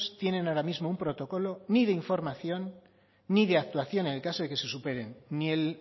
tienen ahora mismo un protocolo ni de información ni de actuación en el caso de que se superen ni el